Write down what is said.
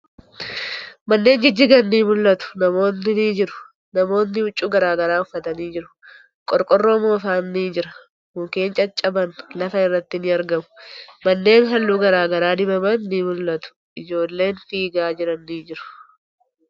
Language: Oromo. Manneen jijjigan ni mul'atu. Namootni ni jiru. Namootni huccuu garagaraa uffatanii jiru. Qorqoorroo moofan ni jira. Mukkeen caccaban lafa irratti ni argamu. Manneen haalluu garagaraa dibaman ni mul'atu. Ijoollen fiigaa jiran ni jiru.